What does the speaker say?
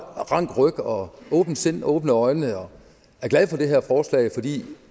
ryg og åbent sind og åbne øjne og er glad for det her forslag fordi